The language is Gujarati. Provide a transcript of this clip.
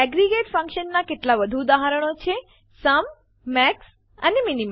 એગ્રેગેટ ફંક્શન્સ નાં કેટલાક વધુ ઉદાહરણો છે સુમ મેક્સ અને મિન